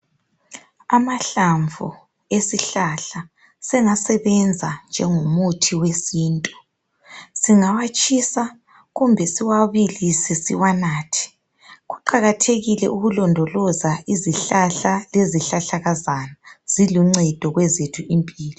Amahlamvu esihlahla sengasebenza njengomuthi wesintu. Singawatshisa, kumbe siwabilise siwanathe. Kuqakathekile ukulondoloza izihlahla lezihlahlakazana. Ziluncedo kwezethu impilo.